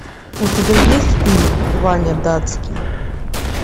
у тебя есть фильм ваня датский